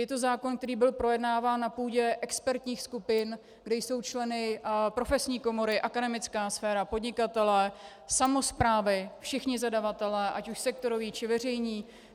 Je to zákon, který byl projednáván na půdě expertních skupin, kde jsou členy profesní komory, akademická sféra, podnikatelé, samosprávy, všichni zadavatelé, ať už sektoroví, či veřejní.